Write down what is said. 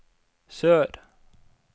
sør